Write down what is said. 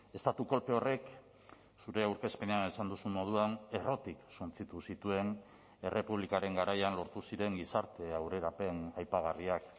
estatu kolpe horrek zure aurkezpenean esan duzun moduan errotik suntsitu zituen errepublikaren garaian lortu ziren gizarte aurrerapen aipagarriak